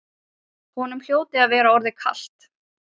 Honum hljóti að vera orðið kalt.